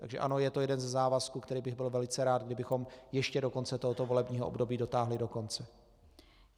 Takže ano, je to jeden ze závazků, který bych byl velice rád, kdybychom ještě do konce tohoto volebního období dotáhli do konce.